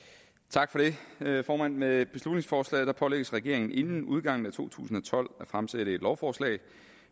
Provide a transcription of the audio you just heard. tak for det formand med beslutningsforslaget pålægges regeringen inden udgangen af to tusind og tolv at fremsætte et lovforslag